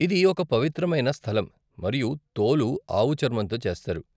ఇది ఒక పవిత్రమైన స్థలం, మరియు తోలు ఆవు చర్మంతో చేస్తారు.